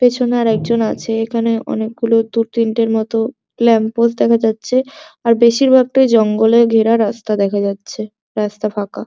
পেছনে আর একজন আছে এখানে অনেকগুলো দু তিনটের মতো ল্যাম্প পোস্ট দেখা যাচ্ছে আর বেশিরভাগটাই জঙ্গলে ঘেরা রাস্তা দেখা যাচ্ছে রাস্তা ফাঁকা।